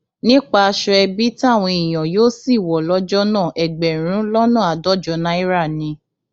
nípa aṣọ ẹbí táwọn èèyàn yóò sì wọ lọjọ náà ẹgbẹrún lọnà àádọjọ náírà ni